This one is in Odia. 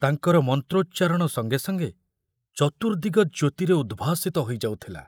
ତାଙ୍କର ମନ୍ତୋଚ୍ଚାରଣ ସଙ୍ଗେ ସଙ୍ଗେ ଚତୁର୍ଦିଗ ଜ୍ୟୋତିରେ ଉଦ୍ଭାସିତ ହୋଇଯାଉଥିଲା।